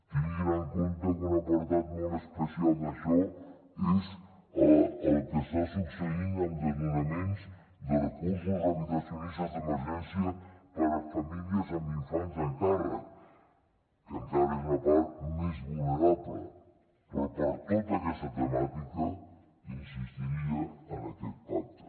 tinguin en compte que un apartat molt especial d’això és el que està succeint amb desnonaments de recursos habitacionistes d’emergència per a famílies amb infants al càrrec que encara és una part més vulnerable però per tota aquesta temàtica insistiria en aquest pacte